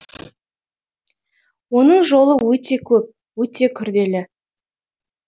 оның жолы өте көп өте күрделі